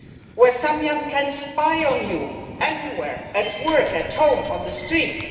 Where someone can spy on you anywhere at work, at home on the streets?